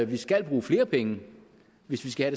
vi skal bruge flere penge hvis vi skal